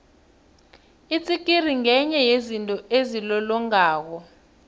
itsikiri ngenye yezinto ezilolongako